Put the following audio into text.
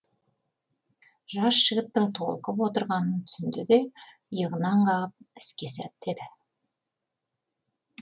жас жігіттің толқып отырғанын түсінді де иығынан қағып іске сәт деді